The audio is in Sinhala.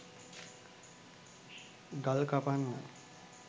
ගල් කපන්න